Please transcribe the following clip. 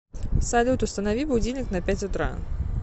салют установи будильник на пять утра